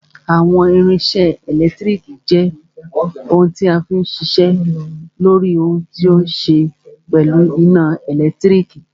Àwọn irinṣẹ́ ẹlẹtíríkì jẹ́ ohun tí a fí n ṣiṣẹ́ lóri ohun tó ní ṣe pẹ̀lú iná ẹ̀lẹ́tírík.